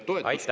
Aitäh!